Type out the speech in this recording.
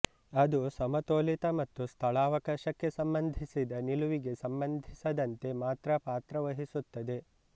ಅದು ಸಮತೋಲಿತ ಮತ್ತು ಸ್ಥಳಾವಕಾಶಕ್ಕೆ ಸಂಬಂಧಿಸಿದ ನಿಲುವಿಗೆ ಸಂಬಂಧಿಸದಂತೆ ಮಾತ್ರ ಪಾತ್ರವಹಿಸುತ್ತದೆ